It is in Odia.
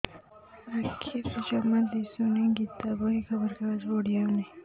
ଆଖିରେ ଜମା ଦୁଶୁନି ଗୀତା ବହି ଖବର କାଗଜ ପଢି ହଉନି